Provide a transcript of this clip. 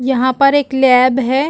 यहाँ पर एक लैब है।